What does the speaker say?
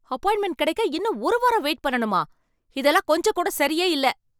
Appointment கெடைக்க இன்னும் ஒரு வாரம் வெயிட் பண்ணணுமா? இதெல்லாம் கொஞ்சம் கூட சரியே இல்ல.